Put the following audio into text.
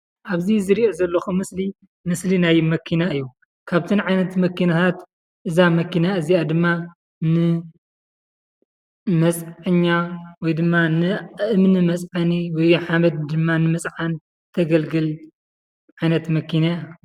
ኣብዚ ዝሪኦም ዘለኹ ምስሊ ምስሊ ናይ መኪና እዩ፡፡ ካብተን ዓይነታት መኪና እዛ መኪና እዚኣ ድማ ንመፅዓኛ ወይ ድማ ንእምኒ መፅዐኒ ወይ ድማ ሓመድ ንምፅዓን ተገልግል ዓይነት መኪና እያ፡፡